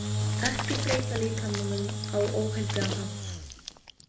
Ekki breyta líkamanum á óheilbrigðan hátt